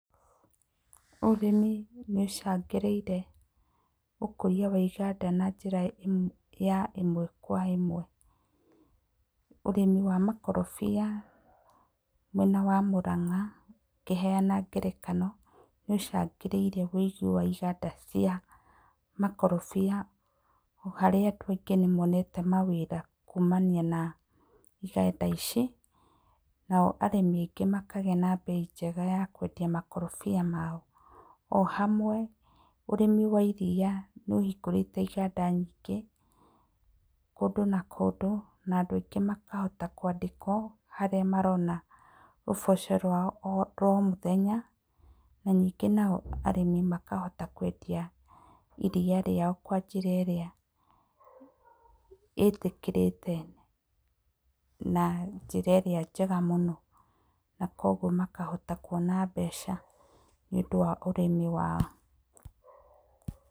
Ũrĩmi nĩ ũcangĩrĩire ũkũria wa iganda na njĩra ĩmwe kwa ĩmwe, ũrĩmi wa makorobia mwena wa Mũrang'a ngĩheana ngerekano nĩ ũcangĩrĩire wĩigi wa iganda cia makorobia harĩa andũ aingĩ nĩ monete mawĩra kumana na iganda ici nao arĩmi aingĩ makaga na mbei njega ta kwendia makorobia mao o hamwe ũrĩmi wa iria nĩ ũhingũrĩte iganda nyingĩ kũndũ na kũndũ na andũ ingĩ makahota kwandĩkwo harĩa marona ũboco wao rwa o mũthenya ningĩ nao arĩmi nao makahota kwendia iria na njĩra ĩrĩa ĩtĩkĩrĩkĩte na njĩra ĩrĩa njega mũno na kwoguo makahota kwona mbeca nĩ ũndũ wa ũrĩmi wao.